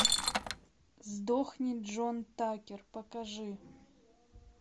сдохни джон такер покажи